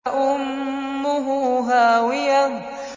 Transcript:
فَأُمُّهُ هَاوِيَةٌ